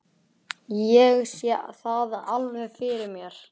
Ég sé það alveg fyrir mér.